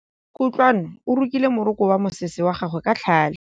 Kutlwanô o rokile morokô wa mosese wa gagwe ka tlhale.